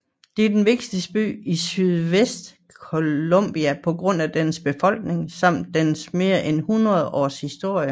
Det er den vigtigste by i sydvest Colombia på grund af dens befolkning samt dens mere end hundrede års historie